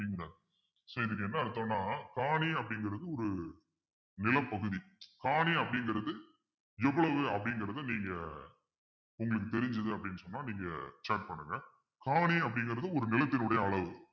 so இதுக்கு என்ன அர்த்தம்னா காணி அப்படிங்கிறது ஒரு நிலப்பகுதி காணி அப்படிங்கிறது எவ்வளவு அப்படிங்கிறதை நீங்க உங்களுக்கு தெரிஞ்சது அப்பிடின்னு சொன்னா நீங்க chat பண்ணுங்க காணி அப்படிங்கிறது ஒரு நிலத்தினுடைய அளவு